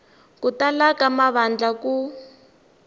ku tala ka mavandla ku